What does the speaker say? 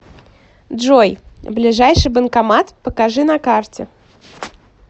джой ближайший банкомат покажи на карте